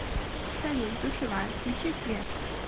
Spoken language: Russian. салют душевая включи свет